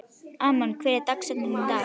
Amon, hver er dagsetningin í dag?